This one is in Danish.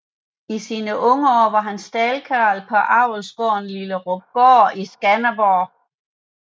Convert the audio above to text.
I sine unge år var han staldkarl på Avlsgaarden Lillerupgaard i Skanderborg